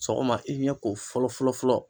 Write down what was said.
Sɔgɔma i ɲɛko fɔlɔfɔlɔ.